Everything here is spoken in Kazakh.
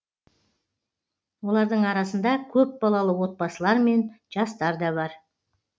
олардың арасында көпбалалы отбасылар мен жастар да бар